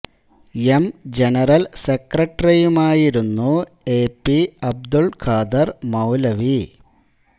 M general സെക്രട്ടറിയുമായിരുന്നു A P Abdul Khader Maulavi